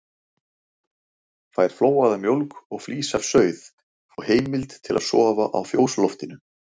Fær flóaða mjólk og flís af sauð og heimild til að sofa á fjósloftinu.